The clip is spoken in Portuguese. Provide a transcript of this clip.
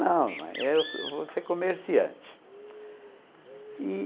Não, mãe, eu vou ser comerciante.